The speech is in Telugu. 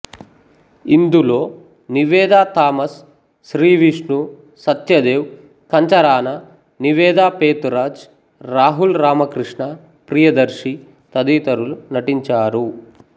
ఇందులో నివేదా థామస్ శ్రీవిష్ణు సత్యదేవ్ కంచరాన నివేదా పేతురాజ్ రాహుల్ రామకృష్ణ ప్రియదర్శి తదితరులు నటించారు